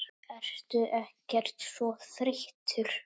Ertu ekkert svo þreytt?